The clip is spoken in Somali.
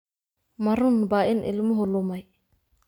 Ma runbaa in ilmuhu lumay?